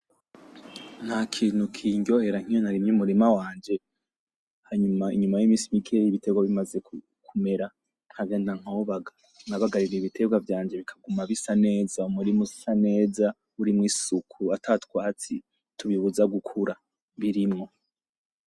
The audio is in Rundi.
Ntakintu kinryohera nkiyo narimye umurima wanje ,hanyuma inyuma y'iminsi mikeyi ibitegwa bimaze kumera nkagenda nkahobaga, nabagaye ibitegwa vyanje bikaguma bisa neza muri musaneza burimwo isuku ata twatsi tubibuze gukura birimwo.